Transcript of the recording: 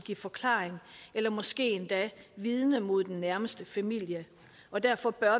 forklaring eller måske endda vidne mod den nærmeste familie og derfor bør